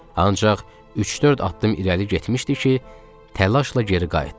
Ancaq üç-dörd addım irəli getmişdi ki, təlaşla geri qayıtdı.